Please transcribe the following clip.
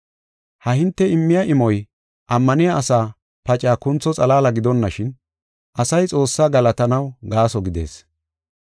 Ha hinte immiya imoy ammaniya asaa pacaa kuntho xalaala gidonashin, asay Xoossaa galatanaw gaaso gidees.